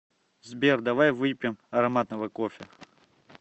сбер давай выпьем ароматного кофе